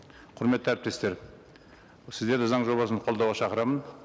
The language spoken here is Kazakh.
құрметті әріптестер сіздерді заң жобасын қолдауға шақырамын